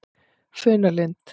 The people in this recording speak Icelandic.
Funalind